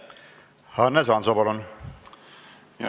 Hannes Hanso, palun!